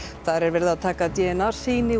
þar er verið að taka d n a sýni